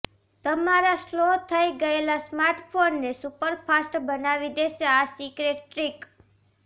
તમારા સ્લો થઈ ગયેલા સ્માર્ટફોનને સુપરફાસ્ટ બનાવી દેશે આ સીક્રેટ ટ્રિક